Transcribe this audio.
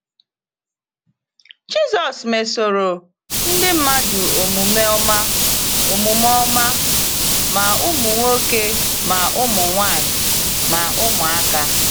Jizọs mesoro ndị mmadụ omume ọma omume ọma, ma ụmụ nwoke, ma ụmụ nwaanyị, ma ụmụaka.